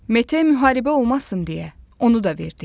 Mete müharibə olmasın deyə onu da verdi.